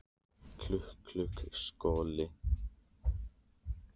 Klukk, klukk, skolli